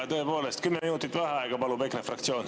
Tõepoolest, 10 minutit vaheaega palub EKRE fraktsioon.